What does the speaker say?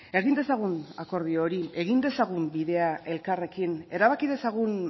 egin dezagun akordio hori egin dezagun bidea elkarrekin erabaki dezagun